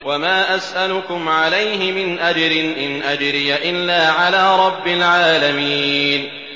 وَمَا أَسْأَلُكُمْ عَلَيْهِ مِنْ أَجْرٍ ۖ إِنْ أَجْرِيَ إِلَّا عَلَىٰ رَبِّ الْعَالَمِينَ